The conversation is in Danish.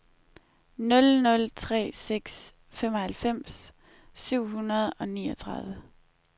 nul nul tre seks femoghalvfems syv hundrede og niogtredive